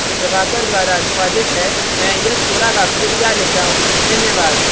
यह स्क्रिप्ट प्रभाकर द्वारा अनुवादित है मैं यश वोरा अब आपसे विदा लेता हूँ धन्यवाद